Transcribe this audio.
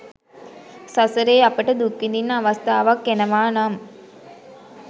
සසරේ අපට දුක් විඳින්න අවස්ථාවක් එනවා නම්